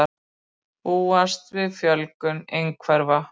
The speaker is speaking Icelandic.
Búast við fjölgun einhverfra